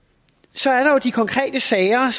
så er der de konkrete sager